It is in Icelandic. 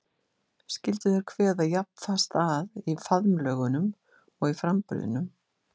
Skyldu þeir kveða jafn fast að í faðmlögunum og í framburðinum?